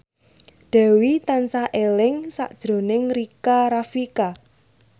Dewi tansah eling sakjroning Rika Rafika